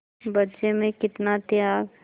बच्चे में कितना त्याग